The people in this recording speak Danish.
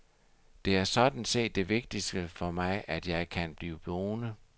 Det er sådan set det vigtigste for mig, at jeg kan blive boende.